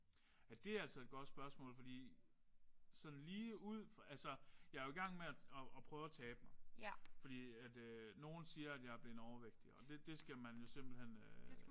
Ja det er altså et godt spørgsmål fordi sådan lige ud altså jeg er jo i gang med at at prøve at tabe mig. Fordi at nogen siger jeg er blevet overvægtig og det skal man jo simpelthen